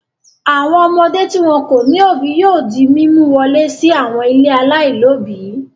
Àwọn ọmọdé tí wọn kò ní òbí yóò di mímú wọlé sí àwọn ilé aláìlóòbí.